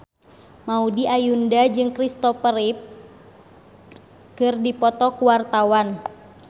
Maudy Ayunda jeung Christopher Reeve keur dipoto ku wartawan